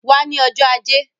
Wá ní ọjọ́ ajé